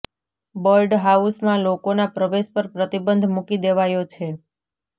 bird હાઉસમાં લોકોના પ્રવેશ પર પ્રતિબંધ મૂકી દેવાયો છે